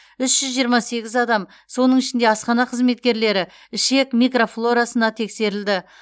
үш жүз жиырма сегіз адам соның ішінде асхана қызметкерлері ішек микрофлорасына тексерілді